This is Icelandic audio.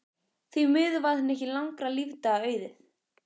Því miður varð henni ekki langra lífdaga auðið.